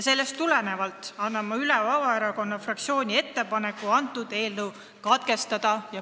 Eelnevast tulenevalt annan üle Vabaerakonna fraktsiooni ettepaneku eelnõu menetlus katkestada.